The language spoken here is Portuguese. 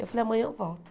Eu falei, amanhã eu volto.